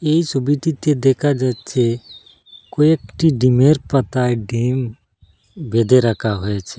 এই ছবিটিতে দেখা যাচ্চে কয়েকটি ডিমের পাতায় ডিম বেঁধে রাখা হয়েছে।